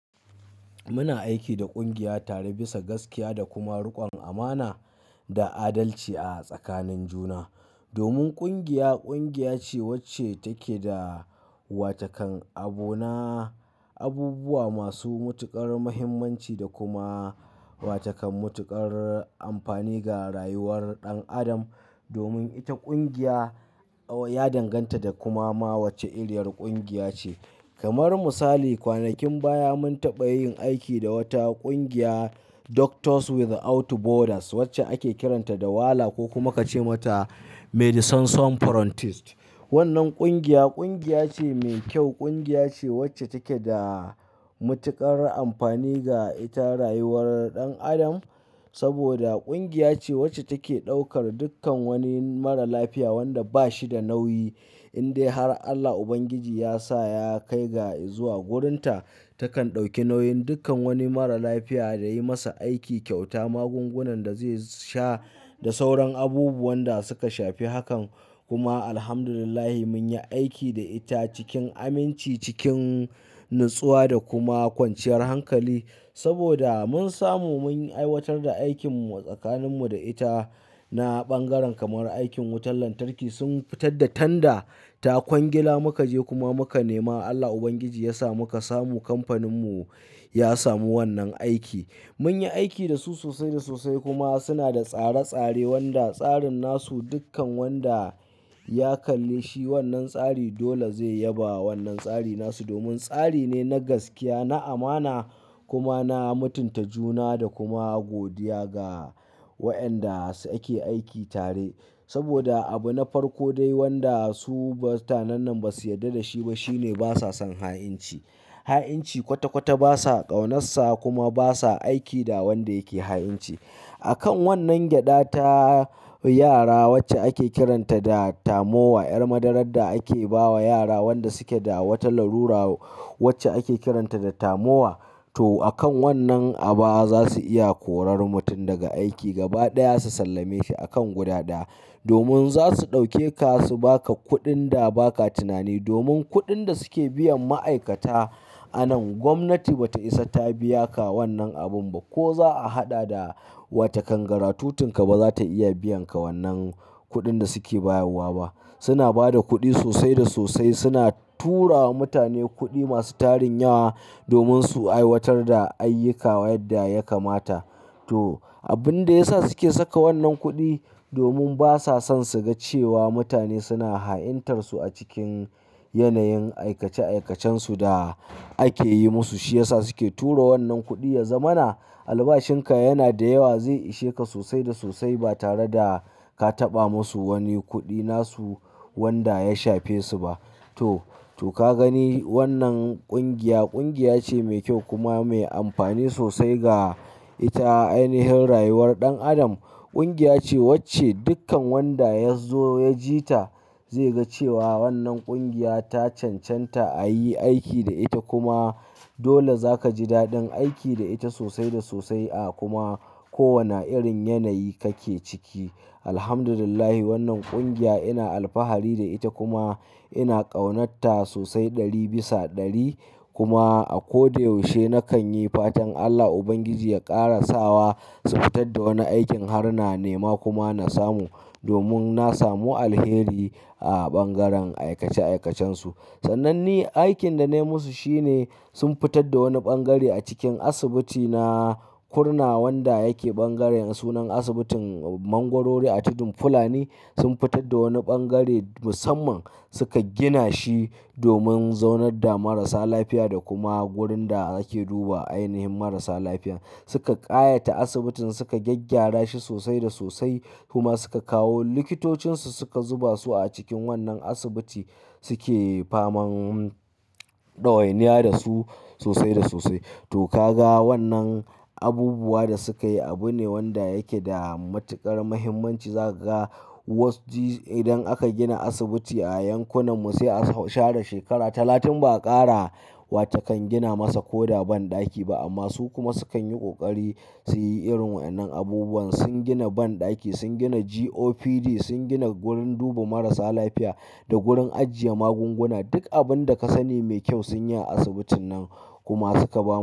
Muna aiki da ƙungiya tare bisa gaskiya da kuma rikon amana da adalci a tsakanin juna. Domin kungiya, kungiya ce wacce take da watakan abona abubuwa masu mutuƙar muhimmanci da kuma wata kan mutuƙar amfani ga rayuwar ɗan adam. Domin ita ƙungiya ya danganta da kuma ma wacce iriyar ƙungiya ce. Kamar misali kwanakin baya mun taɓa yin aiki da wata ƙungiya Doctors Without Borders wacce ake kiranta da Wala ko kuma ka ce mata Medicine Sans Frontieres. Wannan ƙungiya, ƙungiya ce mai kyau. Kungiya ce wacce take da mutuƙar amfani ga ita rayuwar ɗan adam. Saboda ƙungiya ce wacce take ɗaukar dukkan wani mara lafiya wanda bashi da nauyi in dai har Allah Ubangiji ya sa ya kai ga zuwa wurinta takan ɗauki nauyin dukkan wani mara lafiya da yi masa aiki, kyauta magungunan da zai sha da sauran abubuwan da suka shafi hakan. Kuma Alhamdulillah mun yi aiki da ita cikin aminci, cikin natsuwa da kuma kwanciyar hankali. Saboda mun samu mun aiwatar da aikinmu a tsakaninmu da ita na ɓangaren kamar aikin wutar lantarki sun fitar da tanda ta kwangila muka je kuma muka nema. Allah Ubangiji ya sa muka samu kamfaninmu ya samu wannan aiki. Mun yi aiki da su sosai da sosai kuma suna da tsare-tsare wanda tsarin nasu dukkan wanda ya kalli shi wannan tsari dole zai yaba wannan tsari nasu. Domin tsari ne na gaskiya, na amana kuma na mutunta juna da kuma godiya ga wa'yanda ake aiki tare. Saboda abu na farko dai wanda su mutanennan ba su yarda da shi ba shine basa son ha'inci. Ha'inci kwata-kwata basa ƙaunarsa kuma basa aiki da wanda yake ha'inci. Akan wannan gyaɗa ta yara wacce ake kiranta da Tamowa, 'yar madarar da ake bawa yara wanda suke da wata larura wacce ake kiranta da Tamowa. To akan wannan aba za su iya korar mutum daga aiki gaba ɗaya su sallame shi a kan guda ɗaya. Domin za su ɗauke ka su baka kuɗin da baka tunani. Domin kuɗin da suke biyan ma'aikata anan gwamnati bata isa ta biya ka wannan abin ba. Ko za'a haɗa da watakan garadutin ka ba za ta iya biyan ka wannan kuɗin da suke bayarwa ba. Suna bada kuɗi sosai da sosai. Suna tura wa mutane kuɗi masu tarin yawa domin su aiwatar da ayyuka yadda ya kamata. To, abin da yasa suke saka wannan kuɗi domin basa son suga cewa mutane suna ha'intar su a cikin yanayin aikace-aikacensu da ake yi musu shi yasa suke tura wannan kuɗi. Yanzamana albashin ka yana da yawa zai ishe ka sosai da sosai ba tare da ka taɓa musu wani kuɗi nasu wanda ya shafe su ba. To, to ka gani wannan ƙungiya, ƙungiya ce mai kyau kuma mai amfani sosai ga ita ainihin rayuwar ɗan adam. Ƙungiya ce wacce dukkan wanda ya zo ya ji ta zai ga cewa wannan ƙungiya ta cancanta a yi aiki da ita kuma dole zaka ji daɗin aiki da ita sosai da sosai a kuma kowane irin yanayi kake ciki. Alhamdulillah wannan ƙungiya ina alfahari da ita kuma ina ƙaunarta sosai ɗari bisa ɗari. Kuma a ko da yaushe nakan yi fatan Allah Ubangiji ya ƙarasawa su fitar da wani aikin har na nema kuma na samu. Domin na samu alheri a bangaren aikace-aikacensu. Sanan ni aikin da na yi musu shi ne sun fitar da wani bangare a cikin asibiti na Kurna wanda yake bangaren sunan asibitin Mangorori a Tudun Fulani. Sun fitar da wani bangare musamman suka gina shi domin zaunar da marasa lafiya da kuma wurin da ake duba ainihin marasa lafiya. Suka ƙayata asibitin suka gyaggyara shi sosai da sosai kuma suka kawo likitocinsu suka zuba su a cikin wannan asibiti suke faman ɗawainiya da su sosai da sosai. To ka ga wannan abubuwan da suka yi abu ne wanda yake da matuƙar muhimmanci. Za ka ga waz ji idan aka gina asibiti a yankunan mu sai a share shekara talatin ba a ƙara wata kan gina masa koda banɗaki ba. Amma su kuma sukan yi ƙoƙari su yi irin wa'yannan abubuwan. Sun gina banɗaki, sun gina GOPD, sun gina wurin duba marasa lafiya da wurin ajiye magunguna. Duk abin da ka sani mai kyau sun yi a asibitin nan kuma suka bamu.